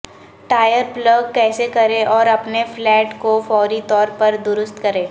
tyre plug کیسے کریں اور اپنے فلیٹ کو فوری طور پر درست کریں